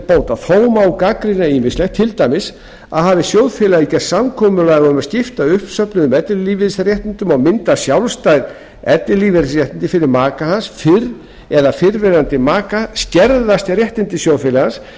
bóta þó má gagnrýna ýmislegt til dæmis að hafi sjóðfélagi gert samkomulag um að skipta uppsöfnuðum ellilífeyrisréttindum og mynda sjálfstæð ellilífeyrisréttindi fyrir maka sinn eða fyrrverandi maka skerðast réttindi sjóðfélagans